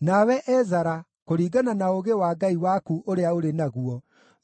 Nawe Ezara, kũringana na ũũgĩ wa Ngai waku ũrĩa ũrĩ naguo,